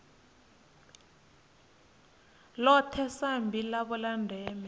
ḽone sambi ḽavho ḽa ndeme